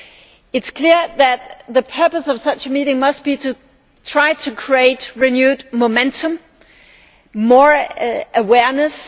It is clear that the purpose of such a meeting must be to try to create renewed momentum and more awareness.